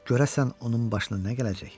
Görəsən onun başına nə gələcek?